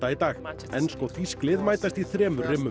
dag ensk og þýsk lið mætast í þremur